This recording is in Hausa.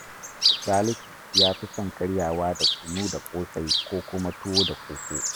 Salisu ya fi son karyawa da kunu da ƙosai ko kuma tuwo da koko